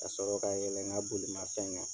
Ka sɔrɔ ka yɛlɛ n ka bolimanfɛn kan.